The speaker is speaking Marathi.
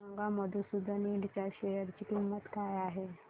सांगा मधुसूदन इंड च्या शेअर ची किंमत काय आहे